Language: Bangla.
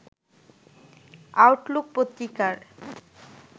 আউটলুক পত্রিকার